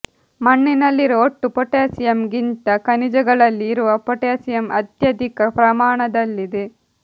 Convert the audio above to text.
ಮಣ್ಣಿನಲ್ಲಿರುವ ಒಟ್ಟು ಪೋಟ್ಯಾಸಿಯಂ ಗಿಂತ ಖನಿಜಗಳಲ್ಲಿ ಇರುವ ಪೋಟ್ಯಾಸಿಯಂ ಅತ್ಯಧಿಕ ಪ್ರಮಾಣದಲ್ಲಿದೆ